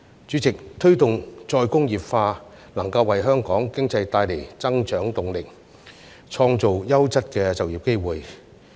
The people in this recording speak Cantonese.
主席，推動再工業化能夠為香港經濟帶來增長動力，創造優質的就業機會。